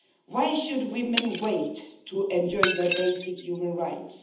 Why should women wait to enjoy their basic human rights?